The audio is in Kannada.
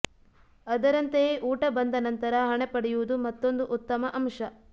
ಅದರಂತೆಯೇ ಊಟ ಬಂದ ನಂತರ ಹಣ ಪಡೆಯುವುದು ಮತ್ತೊಂದು ಉತ್ತಮ ಅಂಶ